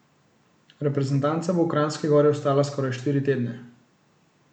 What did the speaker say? Reprezentanca bo v Kranjski Gori ostala skoraj štiri tedne.